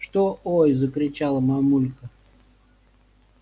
что ой закричала мамулька